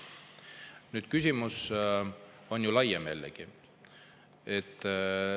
Nüüd, küsimus on ju laiem jällegi.